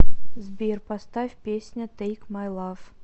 сбер поставь песня тейк май лав